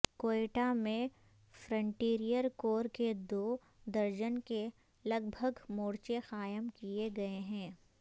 کوئٹہ میں frontier corps کے دو درجن کے لگ بھگ مورچے قائم کیے گئے ہیں